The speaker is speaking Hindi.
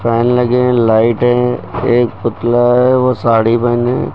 फैन लगे हैं लाइटें हैं एक पुतला है वो साड़ी पहने है।